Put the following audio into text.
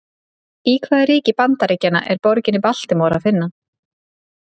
Í hvaða ríki Bandaríkjanna er borgina Baltimore að finna?